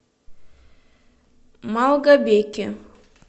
малгобеке